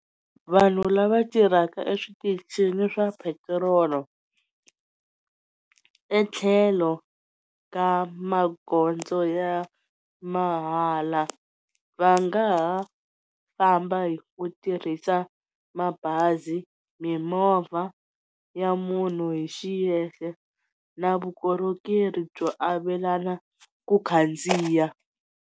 Vanhu lava tirhaka eswitichini swa petrolo etlhelo ka magondzo ya mahala va nga ha famba hi ku tirhisa mabazi, mimovha ya munhu hi xiyexe na vukorhokeri byo avelana ku khandziya.